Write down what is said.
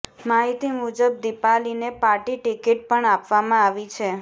માહિતી મુજબ દીપાલીને પાર્ટી ટિકિટ પણ આપવામાં આવી છે